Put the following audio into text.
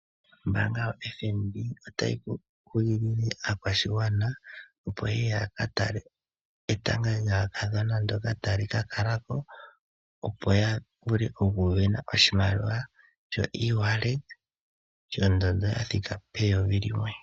Ombaanga yo FNB otayi kunkilile aakwashigwana opo yeye yakatale etanga lyaakadhona ndoka tali ka kalako opo yavule okusindana oshinima sho shathika peyovi limwe .